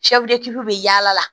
bɛ yaala la